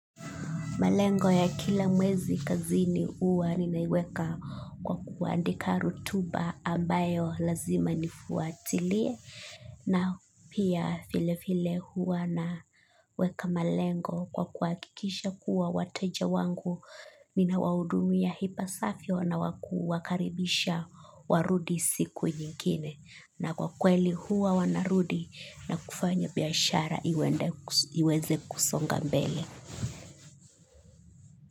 Malengo ya kila mwezi kazini huwa ninaiweka kwa kuandika rotuba ambayo lazima nifuatilie na pia vile vile huwa na weka malengo kwa kuhakikisha kuwa wateja wangu nina hudumia ipasavyo na kuwakaribisha warudi siku nyingine. Na kwa kweli huwa wanarudi na kufanya biashara iweze kusonga mbele.